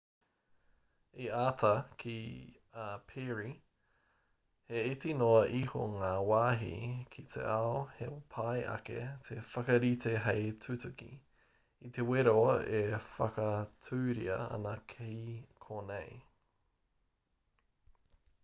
i āta kī a perry he iti noa iho ngā wāhi ki te ao he pai ake te whakarite hei tutuki i te wero e whakatūria ana ki konei